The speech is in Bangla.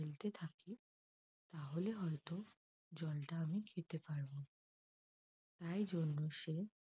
ফেলতে থাকি তাহলে হয়তো জলটা আমি খেতে পারব। তাই জন্য সে